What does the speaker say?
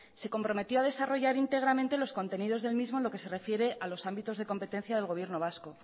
se comprometió a desarrollar íntegramente los contenidos del mismo en lo que se refiere a los ámbitos de competencia del gobierno vasco